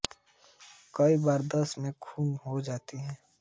कई बार दस्त में खून हो सकता है